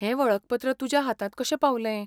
हें वळखपत्र तुज्या हातांत कशें पावलें ?